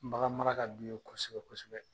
Bagan mara ka d'u ye kosɛbɛ kosɛbɛ.